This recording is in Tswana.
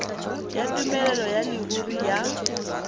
ya tumelelo ya leruri ya